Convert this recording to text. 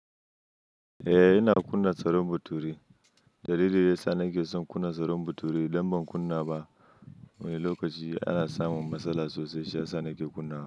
Eh ina kunna tsaron bature. Dalili yasa nake son kunna tsaron bature idan ban kunna ba wani lokaci ana samun matsala sosai shi yasa nake kunna.